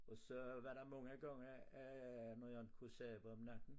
Og så var der mange gange øh når jeg ikke kunne sove om natten